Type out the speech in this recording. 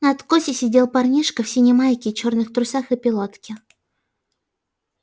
на откосе сидел парнишка в синей майке чёрных трусах и пилотке